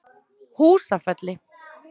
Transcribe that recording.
Húsafelli